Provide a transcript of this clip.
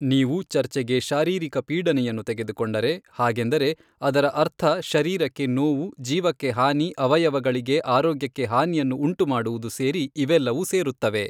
ನೀವು ಚರ್ಚೆಗೆ ಶಾರೀರಿಕ ಪೀಡನೆಯನ್ನು ತೆಗೆದುಕೊಂಡರೆ ಹಾಗೆಂದರೆ ಅದರ ಅರ್ಥ ಶರೀರಕ್ಕೆ ನೋವು ಜೀವಕ್ಕೆ ಹಾನಿ ಅವಯವಗಳಿಗೆ ಆರೋಗ್ಯಕ್ಕೆ ಹಾನಿಯನ್ನು ಊಂಟುಮಾಡುವುದು ಸೇರಿ ಇವೆಲ್ಲವು ಸೇರುತ್ತವೆ.